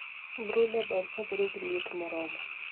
Brooder ber kabedo gi liet moromo